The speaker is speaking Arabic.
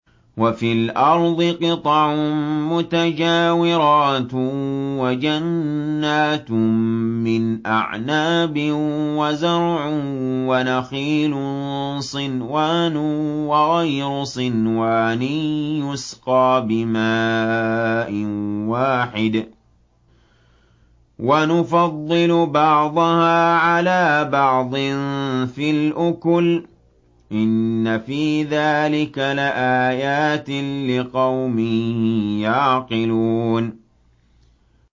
وَفِي الْأَرْضِ قِطَعٌ مُّتَجَاوِرَاتٌ وَجَنَّاتٌ مِّنْ أَعْنَابٍ وَزَرْعٌ وَنَخِيلٌ صِنْوَانٌ وَغَيْرُ صِنْوَانٍ يُسْقَىٰ بِمَاءٍ وَاحِدٍ وَنُفَضِّلُ بَعْضَهَا عَلَىٰ بَعْضٍ فِي الْأُكُلِ ۚ إِنَّ فِي ذَٰلِكَ لَآيَاتٍ لِّقَوْمٍ يَعْقِلُونَ